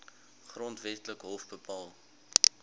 grondwetlike hof bepaal